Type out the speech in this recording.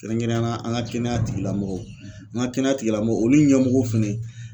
Kɛrɛnkɛrɛnnenya la an ka kɛnɛya tigilamɔgɔw , an ka kɛnɛya tigilamɔgɔw olu ɲɛmɔgɔ fɛnɛ